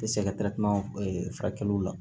tɛ se ka furakɛliw la